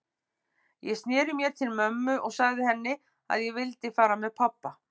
Ég sneri mér til mömmu og sagði henni að ég vildi fara með pabba.